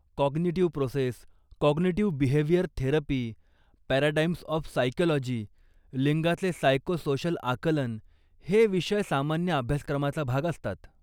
Cognitive process, cognitive behaviour therapy, paradigms of psychology, लिंगाचे psycho social आकलन हे विषय सामान्य अभ्यासक्रमाचा भाग असतात.